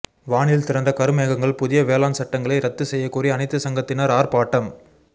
வானில் திரண்ட கருமேகங்கள் புதிய வேளாண் சட்டங்களை ரத்து செய்ய கோரி அனைத்து சங்கத்தினர் ஆர்ப்பாட்டம்